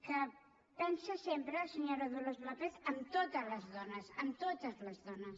que pensa sempre senyora dolors lópez en totes les dones en totes les dones